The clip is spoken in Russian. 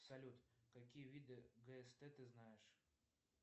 салют какие виды гст ты знаешь